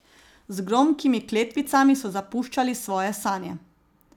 Z gromkimi kletvicami so zapuščali svoje sanje.